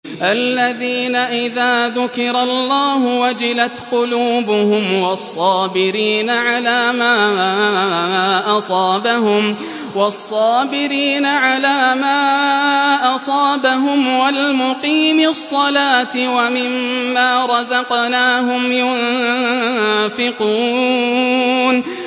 الَّذِينَ إِذَا ذُكِرَ اللَّهُ وَجِلَتْ قُلُوبُهُمْ وَالصَّابِرِينَ عَلَىٰ مَا أَصَابَهُمْ وَالْمُقِيمِي الصَّلَاةِ وَمِمَّا رَزَقْنَاهُمْ يُنفِقُونَ